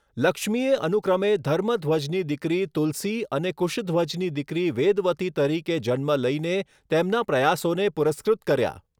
લક્ષ્મીએ અનુક્રમે ધર્મધ્વજની દીકરી તુલસી અને કુશધ્વજની દીકરી વેદવતી તરીકે જન્મ લઈને તેમના પ્રયાસોને પુરસ્કૃત કર્યા.